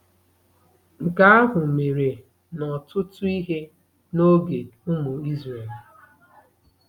Nke ahụ mere n'ọtụtụ ihe n'oge ụmụ Izrel.